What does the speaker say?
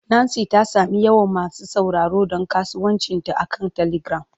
Nancy ta sami yawan masu sauraro don kasuwancinta akan telegram.